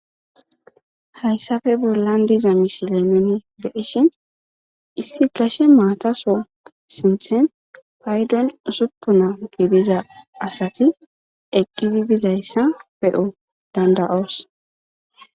hayssafe bollan diza misilenine beishin issi kashe maataso sinthen paydon usuppuna gidiza asati eqqidi dizayssa be7o dandaoos